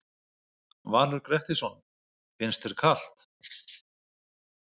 Valur Grettisson: Finnst þér kalt?